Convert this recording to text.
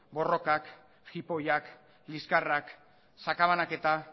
borrokak jipoiak liskarrak sakabanaketa